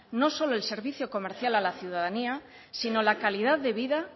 no solo el servicio comercial a la ciudadanía sino la calidad de vida